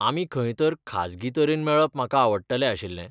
आमी खंय तर खाजगी तरेन मेळप म्हाका आवडटलें आशिल्लें.